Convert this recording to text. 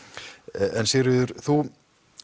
en Sigríður þú